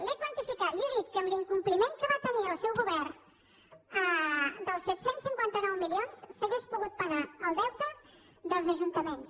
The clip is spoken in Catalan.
l’he quantificat li he dit que amb l’incompliment que va tenir el seu govern dels set cents i cinquanta nou milions s’hauria pogut pagar el deute dels ajuntaments